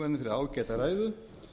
fyrir ágæta ræðu